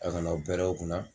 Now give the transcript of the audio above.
A ka n'aw pɛrɛn o kunna